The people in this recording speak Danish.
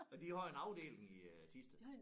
Men de har jo en afdeling i øh Thisted